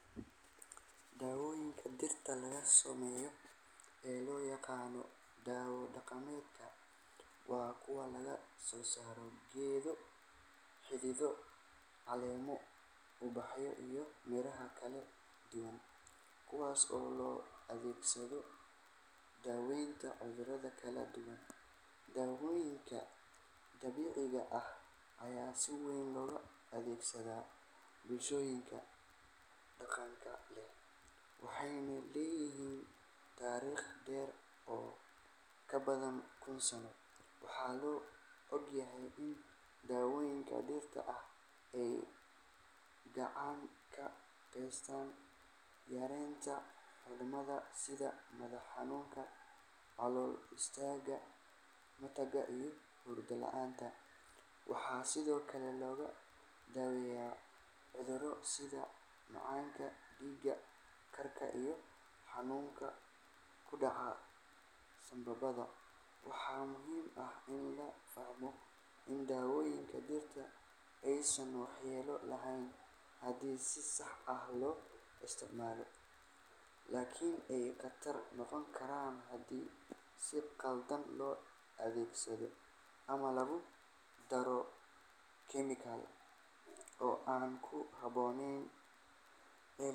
Daawooyinka dhirta laga sameeyo ee loo yaqaan daawo dhaqameedka waa kuwo laga soo saaro geedo, xididdo, caleemo, ubaxyo iyo miraha kala duwan, kuwaas oo loo adeegsado daweynta cudurro kala duwan. Daawooyinkan dabiiciga ah ayaa si weyn loogu adeegsadaa bulshooyinka dhaqanka leh, waxayna leeyihiin taariikh dheer oo ka badan kun sano. Waxaa la og yahay in daawooyinka dhirta ay gacan ka geystaan yareynta xanuunada sida madax-xanuunka, calool-istaagga, matagga iyo hurdo la’aanta. Waxaa sidoo kale lagu daweeyaa cudurro sida macaanka, dhiig karka iyo xanuunada ku dhaca sambabada. Waxaa muhiim ah in la fahmo in daawooyinka dhirta aysan waxyeello lahayn haddii si sax ah loo isticmaalo, laakiin ay khatar noqon karaan haddii si khaldan loo adeegsado ama lagu daro chemical-o aan ku habboonayn.